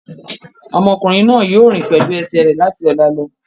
Ọmọkùnrin náà yóò rìn pẹ̀lú ẹsẹ̀ rẹ̀ láti ọ̀la lọ.